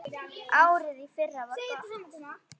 Árið í fyrra var gott.